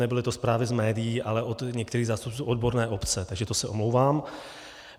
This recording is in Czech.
Nebyly to zprávy z médií, ale od některých zástupců odborné obce, takže to se omlouvám.